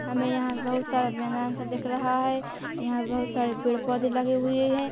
हमें यहाँ बोहोत सारा मैदान सा दिख रहा हैं यहाँ बोहोत सारे पेड़-पौधे लगे हुए हैं।